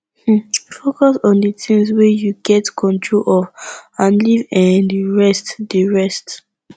um focus on di things wey you get control of and leave um di rest di rest